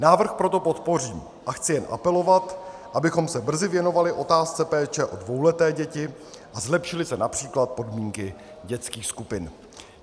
Návrh proto podpořím a chci jen apelovat, abychom se brzy věnovali otázce péče o dvouleté děti a zlepšily se například podmínky dětských skupin.